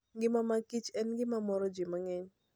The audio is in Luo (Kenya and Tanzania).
Ngima mag kich en gima moro ji mang'eny.